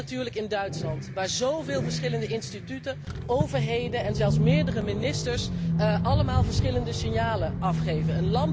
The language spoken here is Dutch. Allereerst natuurlijk in Duitsland, waar zoveel verschillende instituten, overheden en zelfs meerdere ministers allemaal verschillende signalen afgeven.